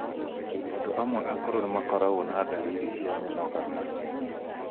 Andũ amwe akũrũ nĩ makoragwo na ndariri cia mĩnogana.